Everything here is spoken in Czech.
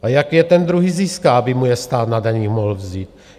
A jak je ten druhý získá, aby mu je stát na daních mohl vzít?